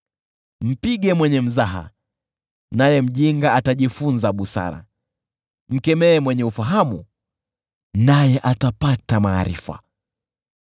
Mpige mwenye mzaha, naye mjinga atajifunza busara, mkemee mwenye ufahamu naye atapata maarifa.